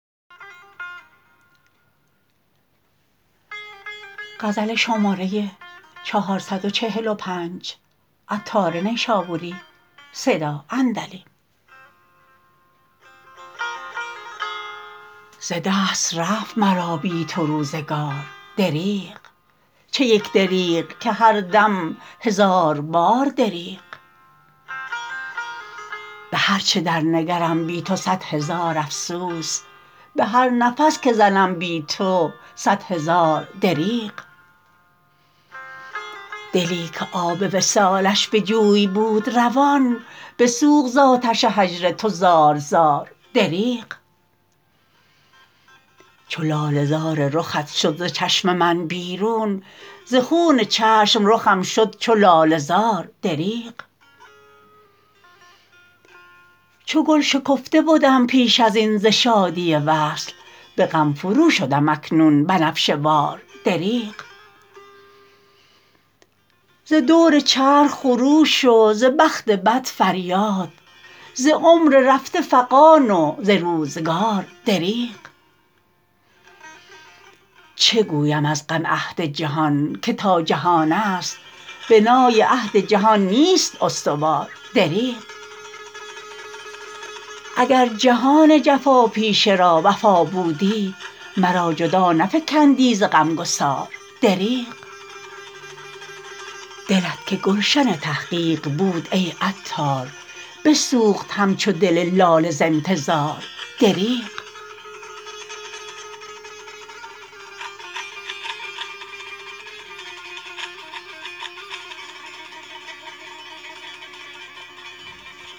ز دست رفت مرا بی تو روزگار دریغ چه یک دریغ که هر دم هزاربار دریغ به هرچه درنگرم بی تو صد هزار افسوس به هر نفس که زنم بی تو صد هزار دریغ دلی که آب وصالش به جوی بود روان بسوخت زآتش هجر تو زار زار دریغ چو لاله زار رخت شد ز چشم من بیرون ز خون چشم رخم شد چو لاله زار دریغ چو گل شکفته بدم پیش ازین ز شادی وصل به غم فرو شدم اکنون بنفشه وار دریغ ز دور چرخ خروش و ز بخت بد فریاد ز عمر رفته فغان و ز روزگار دریغ چه گویم از غم عهد جهان که تا که جهانست بنای عهد جهان نیست استوار دریغ اگر جهان جفاپیشه را وفا بودی مرا جدا نفکندی ز غمگسار دریغ دلت که گلشن تحقیق بود ای عطار بسوخت همچو دل لاله ز انتظار دریغ